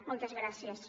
moltes gràcies